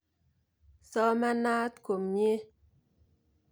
Somanat komnye.